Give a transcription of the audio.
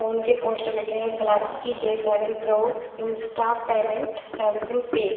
phone के poster लगे हैं Galaxy J seven pro insta payment Samsung pay --